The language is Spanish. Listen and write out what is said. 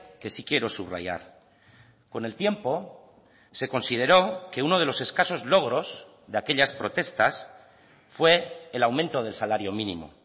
que sí quiero subrayar con el tiempo se consideró que uno de los escasos logros de aquellas protestas fue el aumento del salario mínimo